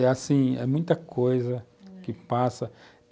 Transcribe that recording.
É assim, é muita coisa que passa.